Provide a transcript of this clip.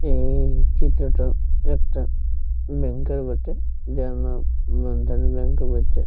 এই চিত্রটা একটা ব্যাংক এর বটে যার নাম বন্ধন ব্যাংক ও বটে।